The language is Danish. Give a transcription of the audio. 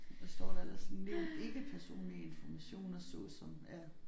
Hvad står der ellers sådan nævn ikke personlige informationer såsom ja